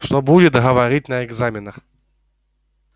что будет говорить на экзаменах